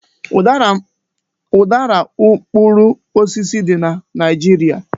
Udara u mkpụrụ osisi dị na Naịjirịa.